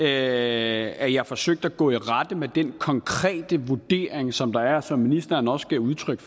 at jeg forsøgte at gå i rette med den konkrete vurdering som der er og som ministeren også gav udtryk